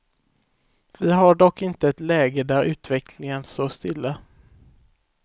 Vi har dock inte ett läge där utvecklingen står stilla.